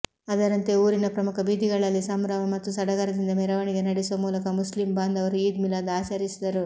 ಅದರಂತೆ ಊರಿನ ಪ್ರಮುಖ ಬೀದಿಗಳಲ್ಲಿ ಸಂಭ್ರಮ ಮತ್ತು ಸಡಗರದಿಂದ ಮೆರವಣಿಗೆ ನಡೆಸುವ ಮೂಲಕ ಮುಸ್ಲಿಂ ಬಾಂಧವರು ಈದ್ ಮಿಲಾದ್ ಆಚರಿಸಿದರು